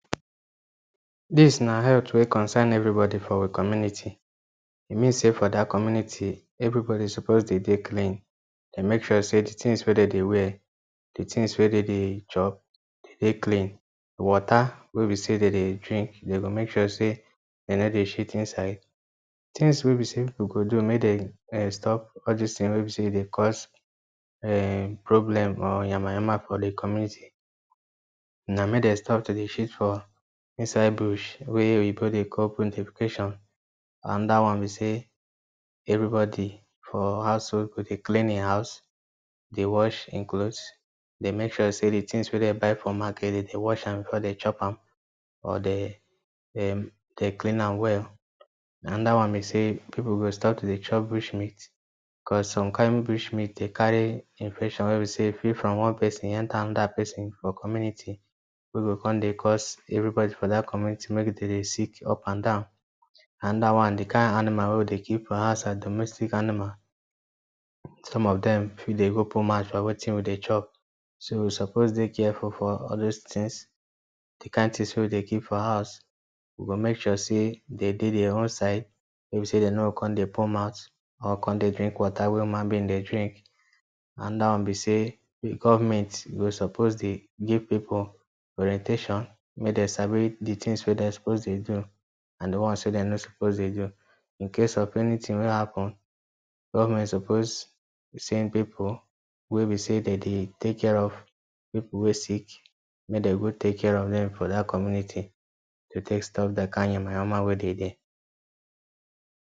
Dis na health wey concern everybody for we community e mean say for dat community everybody suppose dey dey clean dey make sure say d things wey dem dey wear things d tins wey dem dey chop e dey clean d water wey b say dem dey drink dem go make sure say dem no dey shit inside things wey b say people go do make dem um stop all dis things wey dey cause um problem or yama yama for d community na make dem stop to dey shit for inside bush wey oyinbo dey call Anoda one be say everybody for household, go dey clean hin house dey wash hin cloth dey make sure say d things we dey buy from market den dey wash dem before dey chop am or dey clean am well. Another one be say people go stop to dey chop bushmeat Because some kind of bushmeat dey carry infection where be say e fit from one person you enter another person for community We go con dey cause everybody for dat community make d day sick up and down another one d kind animal wey we dey keep for house as domestic animal some of dem fit dey go put mouth for wetin we dey chop so we suppose dey careful for all those things d kind things wey we dey keep for house we go make sure say dem their own side wey b say dem no go con dey put mouth or con dey drink water wey human being dey drink anoda one b say if government go suppose dey give people orientation make dem sabi d things wey dem suppose dey do and d ones wey dem no suppose dey do incase of anything wey happen government suppose send people wey b say dem dey take care of people wey sick make d go take care of dem for dat community to take stop d kind yama yama wey dey there